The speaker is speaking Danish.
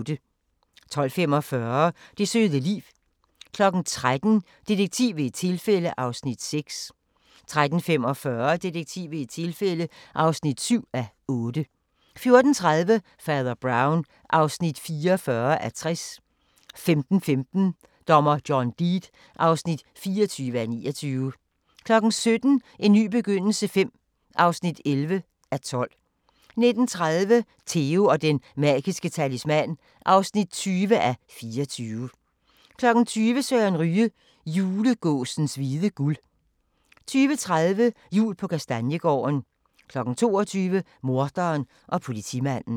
12:45: Det søde liv 13:00: Detektiv ved et tilfælde (6:8) 13:45: Detektiv ved et tilfælde (7:8) 14:30: Fader Brown (44:60) 15:15: Dommer John Deed (24:29) 17:00: En ny begyndelse V (11:12) 19:30: Theo & den magiske talisman (20:24) 20:00: Søren Ryge: Julegåsens hvide guld 20:30: Jul på Kastanjegården 22:00: Morderen og politimanden